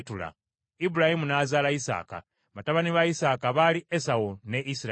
Ibulayimu n’azaala Isaaka; batabani ba Isaaka baali Esawu ne Isirayiri.